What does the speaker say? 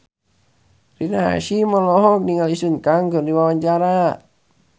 Rina Hasyim olohok ningali Sun Kang keur diwawancara